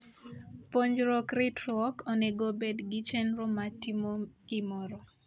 Puonjruok ritruok onego obed gi chenro mar timo gimoro.